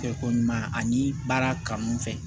Kɛ ko ɲuman ani baara kanu fɛ